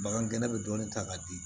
Bagan gɛnɛ bɛ dɔɔnin ta k'a di